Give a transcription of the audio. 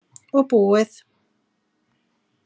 Og búið.